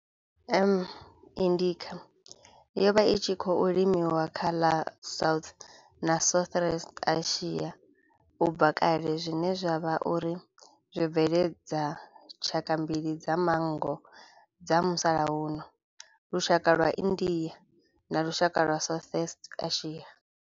M. indica yo vha i tshi khou limiwa kha ḽa South na Southeast Asia ubva kale zwine zwa vha uri zwo bveledza tshaka mbili dza manngo dza musalauno, lushaka lwa India na lushaka lwa Southeast Asia.